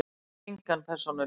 Hef engan persónuleika.